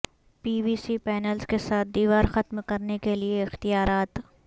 PVC panels کے ساتھ دیوار ختم کرنے کے لئے اختیارات